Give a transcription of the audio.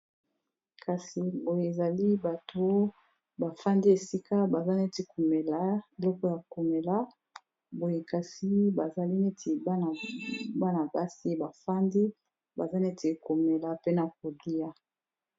Kasi oyo ezali bato bafandi esika baza neti komela eloko ya komela boye kasi bazali neti bana basi bafandi baza neti komela pe na kolia.